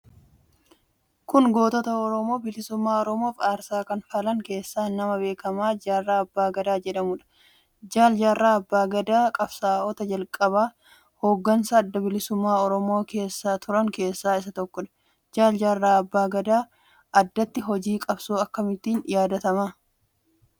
Kun gootota Oromoo bilisummaa Oromoof aarsaa kanfalan keessaa nama beekamaa Jaarraa Abbaa Gadaa jedhamuudha. Jaal Jaarraa Abbaa Gadaa qabsaa'ota jalqabaa hooggansa Adda Bilisummaa Oromoo keessan turan keessaa isa tokko. Jaal Jaarraa Abbaa Gadaa addatti hojii qabsoo akkamiitiin yaadatama?